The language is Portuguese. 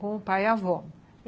Com o pai e a avó.